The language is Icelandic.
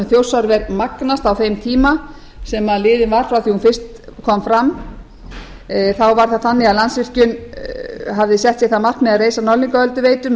þjórsárver magnast á þeim tíma sem liðinn var frá því að hún fyrst kom fram þá var það þannig að landsvirkjun hafði sett sér það markmið að reisa norðlingaölduveitu með